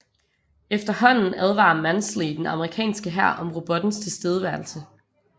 Efterhånden advarer Mansley den amerikanske hær om robottens tilstedeværelse